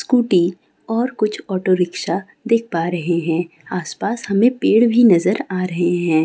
Scooty और कुछ auto rickshaw देख पा रहे हैं आसपास हमें पेड़ भी नजर आ रहे हैं।